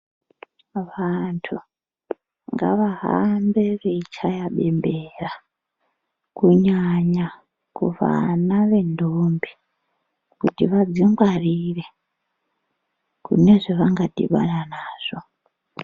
Vantu ngaahambe veichaya bembera, kunyanya kuvana vendombi kuti vadzingwarire, kune zvevangadhibana nazvo.